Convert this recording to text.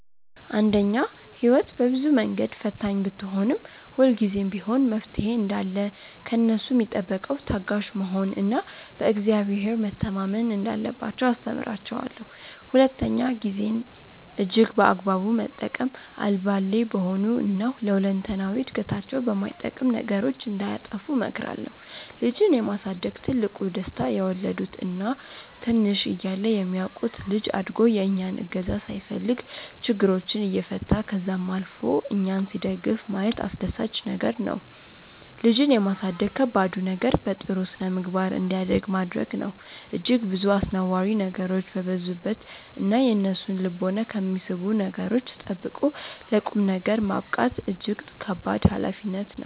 አንደኛ፦ ህይወት በብዙ መንገድ ፈታኝ ብትሆንም፤ ሁልጊዜም ቢሆን መፍትሔ እንዳለ ከእነሱ ሚጠበቀው ታጋሽ መሆን እና በ እግዚአብሔር መተማመን እንዳለባቸው አስተምራቸዋለው። ሁለተኛ፦ ጊዜን እጅግ በአግባቡ መጠቀም፤ አልባሌ በሆኑ እና ለ ሁለንተናዊ እድገታቸው በማይጠቅም ነገሮች እንዳያጠፉ እመክራለሁ። ልጅን የማሳደግ ትልቁ ደስታ የወለዱት እና ትንሽ እያለ የሚያውቁት ልጅ አድጎ የእኛን እገዛ ሳይፈልግ ችግሮችን እየፈታ ከዛም አልፎ እኛን ሲደግፍ ማየት አስደሳች ነገር ነው። ልጅን የማሳደግ ከባዱ ነገር በጥሩ ስነምግባር እንዲያድግ ማድረግ ነው። እጅግ ብዙ አስነዋሪ ነገሮች በበዙበት እና የእነሱን ልቦና ከሚስቡ ነገሮች ጠብቆ ለ ቁምነገር ማብቃት እጅግ ከባድ ሀላፊነት ነው።